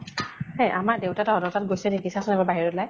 এহ আমাৰ দেউতা তহঁতৰ তাত গৈছে নেকি চাচোন এবাৰ বাহিৰত ওলাই।